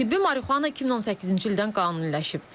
Tibbi marihuana 2018-ci ildən qanuniləşib.